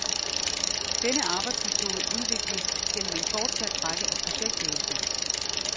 Denne arbejdsmetode udvikles gennem en fortsat række af projektøvelser.